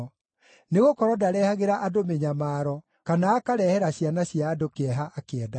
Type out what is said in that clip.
Nĩgũkorwo ndarehagĩra andũ mĩnyamaro, kana akarehere ciana cia andũ kĩeha akĩendaga.